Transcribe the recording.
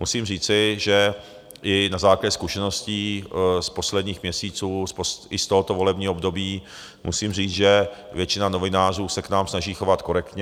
Musím říci, že i na základě zkušeností z posledních měsíců, i z tohoto volebního období musím říci, že většina novinářů se k nám snaží chovat korektně.